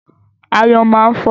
Aáyán máa ń fò.